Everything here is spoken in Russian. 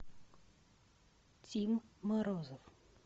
тим морозов